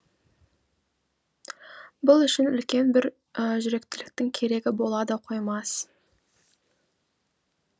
бұл үшін үлкен бір жүректіліктің керегі бола да қоймас